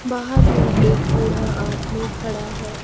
बाहर में एक बूढ़ा आदमी खड़ा है।